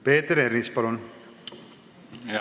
Peeter Ernits, palun!